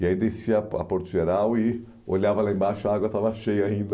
E aí descia a Por a Porto Geral e olhava lá embaixo, a água estava cheia ainda.